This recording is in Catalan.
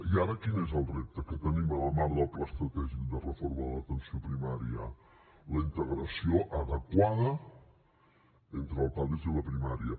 i ara quin és el repte que tenim en el marc del pla estratègic de reforma de l’atenció primària la integració adequada entre el pades i la primària